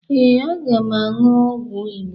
Ee, aga m aṅụ ọgwụ Igbo